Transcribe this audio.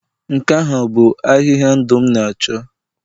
nke ahụ bụ ahịhịa ndụ m na-achọ?